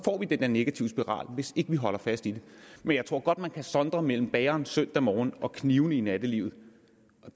vi den der negative spiral hvis ikke vi holder fast i det men jeg tror godt at man kan sondre mellem bageren søndag morgen og knivene i nattelivet